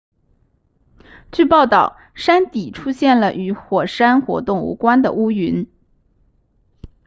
据报道山底出现了与火山活动无关的乌云